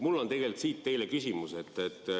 Mul on teile küsimus.